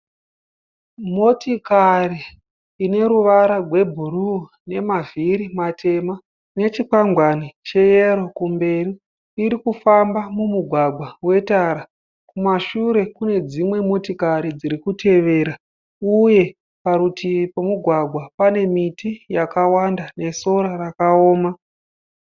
Motokari ine ruvara rwebhuruu nemavhiri matema nechikwangwani cheyero kumberi irikufamba mumugwagwa wetara kumashure kune dzimwe motokari dziri kutevera uye parutivi pemugwagwa pane miti yakawanda nesora rakaoma.